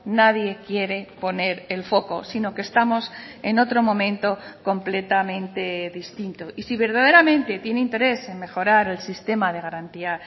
nadie quiere poner el foco sino que estamos en otro momento completamente distinto y si verdaderamente tiene interés en mejorar el sistema de garantía